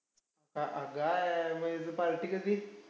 अग्गायाया काय मग party कधी?